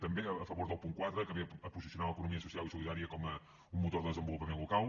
també a favor del punt quatre que ve a posicionar l’economia social i solidària com un motor de desenvolupament local